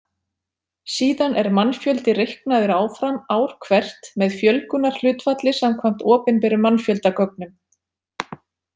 Síðan er mannfjöldi reiknaður áfram ár hvert með fjölgunarhlutfalli samkvæmt opinberum mannfjöldagögnum.